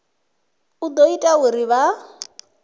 u ḓo ita uri vha